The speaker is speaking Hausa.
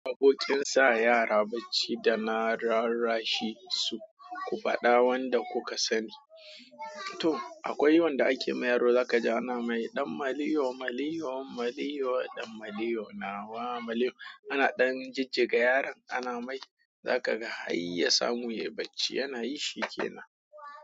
Abokin sa yara bacci da na rarrashi su, ku faɗa wanda kuka sani. To akwai wanda ake mai yaro zaka ji ana mai ɗan maliyo maliyo maliyo ɗan maliyo nawa maliyo. Ana ɗan jijjiga yaron ana mai za ka ga har ya samu yayi bacci. Yana yi sheke na.